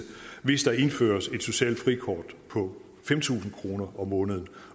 hvis der indføres et socialt frikort på fem tusind kroner om måneden